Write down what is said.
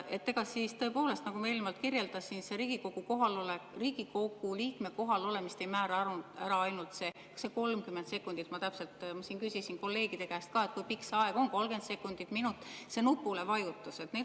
Ega siis tõepoolest, nagu ma eelnevalt kirjeldasin, Riigikogu liikme kohalolemist ei määra ainult see 30 sekundit – ma täpselt, ma küsisin kolleegide käest, kui pikk see aeg on, 30 sekundit või minut –, see nupuvajutus.